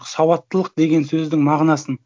сауаттылық деген сөздің мағынасын